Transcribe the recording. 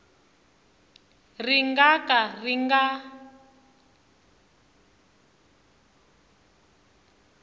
ri nga ka ri nga